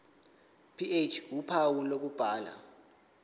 ph uphawu lokubhala